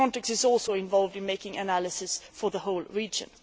Frontex is also involved in doing analysis for the whole region.